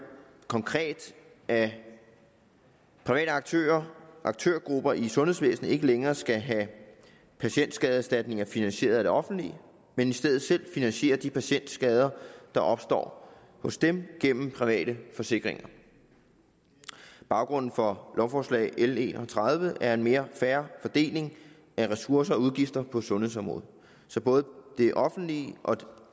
konkret at private aktører og aktørgrupper i sundhedsvæsenet ikke længere skal have patientskadeerstatninger finansieret af det offentlige men i stedet selv finansiere de patientskader der opstår hos dem gennem private forsikringer baggrunden for lovforslag l en og tredive er en mere fair fordeling af ressourcer og udgifter på sundhedsområdet så både det offentlige og det